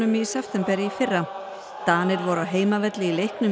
í september í fyrra Danir voru á heimavelli í leiknum